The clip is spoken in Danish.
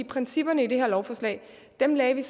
principperne i det her lovforslag lagde vi